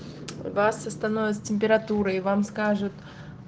вас остановят с температурой и вам скажут